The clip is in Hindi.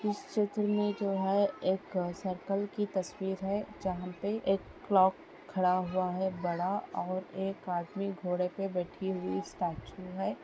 इस चित्र में जो है एक सर्कल की तस्वीर है जहां पे एक क्लॉक खड़ा हुआ है बड़ा और एक आदमी घोड़े पे बैठी हुई स्टैचू है।